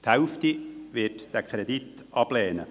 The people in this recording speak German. – Die Hälfte wird diesen Kredit ablehnen.